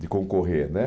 de concorrer, né?